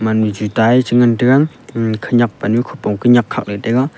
ani chu tai ngan taiga ema khaniak pa nu khopong ki niak kha ngan taiga.